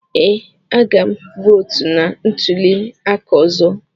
Ee, a ga m votu na ntuli aka ọzọ.